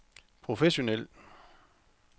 professionel